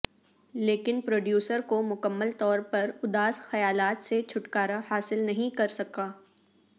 لیکن پروڈیوسر کو مکمل طور پر اداس خیالات سے چھٹکارا حاصل نہیں کر سکا